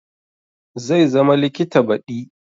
Zai zama likita badi